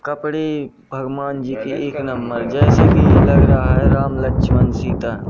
कपड़े भगवान जी के एक नंबर जैसे की लग रहा है राम लक्ष्मण सीता।